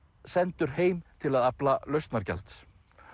sendur heim til að afla lausnargjalds